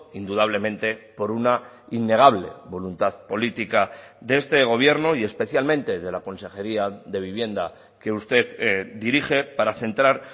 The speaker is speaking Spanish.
indudablemente por una innegable voluntad política de este gobierno y especialmente de la consejería de vivienda que usted dirige para centrar